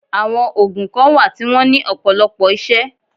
Àwọn ògùn kan wà tí wọ́n ní ọ̀pọ̀lọpọ̀ isẹ́